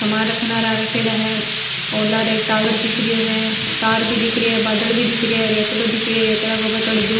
सामान रखेड़ा है और लारे एक टावर दिख रियो है तार भी दिख रही है बादल भी दिख रहा है रतड़ो के ऊपर थोड़ी दूर --